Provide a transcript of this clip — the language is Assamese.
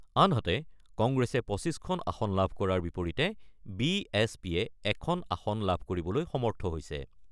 আনহাতে, কংগ্ৰেছে ২৫ খন আসন লাভ কৰাৰ বিপৰীতে বি এছ পিয়ে এখন আসন লাভ কৰিবলৈ সমৰ্থ হৈছে।